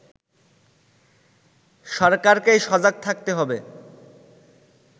সরকারকেই সজাগ থাকতে হবে